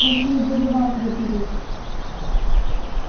просил даже вас запереть